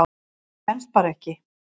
Það stenst bara ekki.